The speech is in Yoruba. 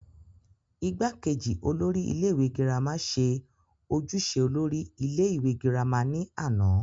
igbákejì olórí ilé ìwé girama ṣe ojúṣe olórí ilé ìwé girama ní àná